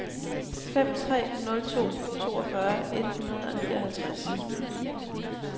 fem tre nul to toogfyrre et hundrede og nioghalvtreds